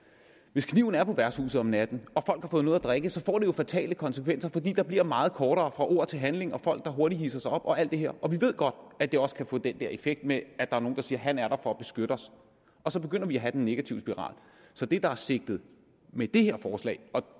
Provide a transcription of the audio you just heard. hvis kniven er på værtshuset om natten og folk har fået noget at drikke så får det jo fatale konsekvenser fordi der bliver meget kortere fra ord til handling folk der hurtigt hidser sig op og alt det her og vi ved godt at det også kan få den der effekt med at der er nogen der siger han er der for at beskytte os og så begynder vi at have den negative spiral så det der er sigtet med det her forslag og